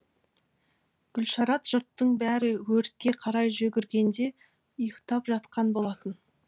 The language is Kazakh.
гүлшарат жұрттың бәрі өртке қарай жүгіргенде ұйықтап жатқан болатын